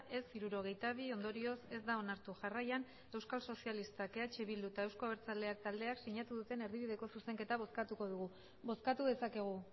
ez hirurogeita bi ondorioz ez da onartu jarraian euskal sozialistak eh bildu eta euzko abertzaleak taldeak sinatu duten erdibideko zuzenketa bozkatuko dugu bozkatu dezakegu